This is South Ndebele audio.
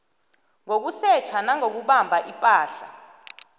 ngokusetjha nangokubamba ipahla